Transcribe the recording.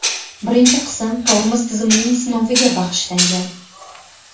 Birinchi qism tormoz tizimining sinoviga bag‘ishlangan .